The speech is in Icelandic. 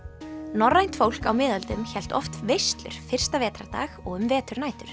norrænt fólk á miðöldum hélt oft veislur fyrsta vetrardag og um veturnætur